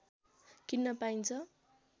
किन्न पाइन्छ